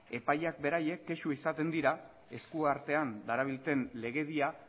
epaileak beraiek kexu izaten dira esku artean darabilten legedia